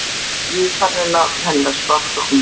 Jú, þarna er nafn hennar svart á hvítu